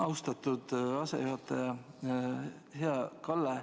Austatud asejuhataja!